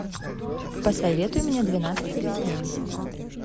посоветуй мне двенадцать обезьян